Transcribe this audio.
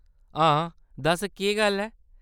हां, दस्स केह्‌‌ गल्ल ऐ ?